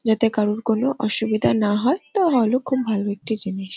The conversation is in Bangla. যাতে কারুর কোনো অসুবিধা না হয়। তা নাহলেও খুব ভালো একটি জিনিস।